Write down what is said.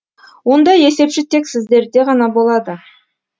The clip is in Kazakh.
ондай есепші тек сіздерде ғана болады